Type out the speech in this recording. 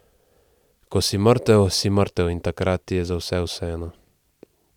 Ko si mrtev, si mrtev in takrat ti je za vse vseeno.